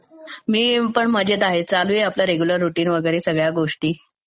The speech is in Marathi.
मी पण मजेत आहे, चालू आहे आपलं रेग्युलर रूटीन वगैरे सगळ्या गोष्टी.